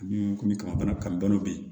Ni komi kaba bana kan dɔn bi